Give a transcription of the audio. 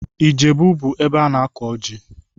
Ijebu bụ ebe ana-akụ ọjị